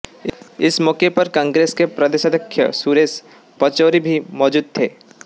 इस मौके पर कांग्रेस के प्रदेशाध्यक्ष सुरेश पचौरी भी मौजूद थे